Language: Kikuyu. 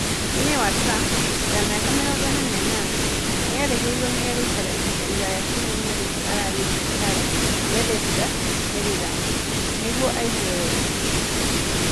Mũtumia wa Trump, wa mĩaka 48, erĩgĩrĩirwo nĩ gũikara ihinda iraya kiumia-inĩ gĩkĩ arĩ thibitarĩ Bethesda, Maryland. Nĩguo aigue wega.